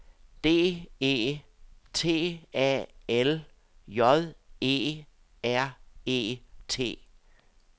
D E T A L J E R E T